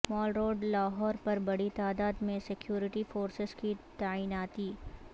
مال Road Lahore پر بڑی تعداد میں سکیورٹی فورسز کی تعیناتی